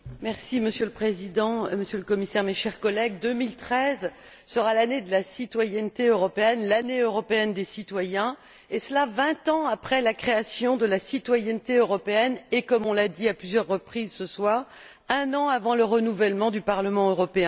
Monsieur le Président, Monsieur le Commissaire, mes chers collègues, 2013 sera l'Année de la citoyenneté européenne, l'Année européenne des citoyens, et cela vingt ans après la création de la citoyenneté européenne, et comme on l'a dit à plusieurs reprises ce soir, un an avant le renouvellement du Parlement européen.